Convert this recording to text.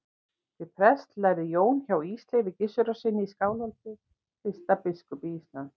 Til prests lærði Jón hjá Ísleifi Gissurarsyni í Skálholti, fyrsta biskupi Íslands.